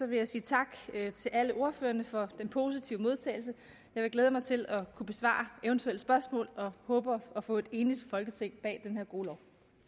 vil jeg sige tak til alle ordførerne for den positive modtagelse jeg vil glæde mig til at kunne besvare eventuelle spørgsmål og håber at få et enigt folketing bag den her gode